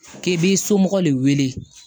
K'i b'i somɔgɔ de wele